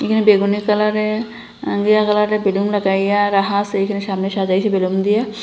এখানে বেগুনি কালারের এ ঘিয়া কালারের বেলুন লাগাইয়া রাখা আসে এখানে সামনে সাজাইছে বেলুন দিয়া।